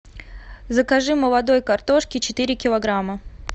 закажи молодой картошки четыре килограмма